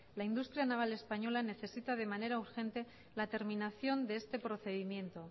la industria naval española necesita de manera urgente la terminación de este procedimiento